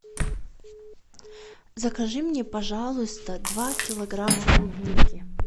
закажи мне пожалуйста два килограмма клубники